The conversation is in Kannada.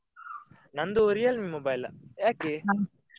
ನಂದು Realme mobile ಯಾಕೆ?